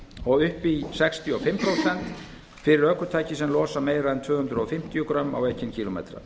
og upp í sextíu og fimm prósent fyrir ökutæki sem losa meira en tvö hundruð fimmtíu grömm á ekinn kílómetra